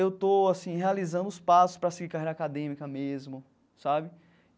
eu estou assim realizando os passos para seguir carreira acadêmica mesmo sabe.